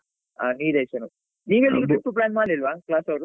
ಆ ನೀಲೇಶ್ವರಂ ನೀವೆಲ್ಲಿಗೆ trip plan ಮಾಡ್ಲಿಲ್ವಾ class ಅವ್ರು?